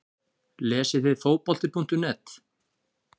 Lesið þið Fótbolti.net?